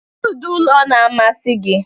Kedu ụdị ụlọ n'amasị gị?